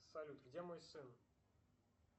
салют где мой сын